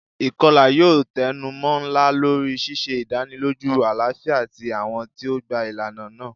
Ikọla yoo tẹnumọ nla lori ṣiṣe idaniloju alafia ti awọn ti o gba ilana naa.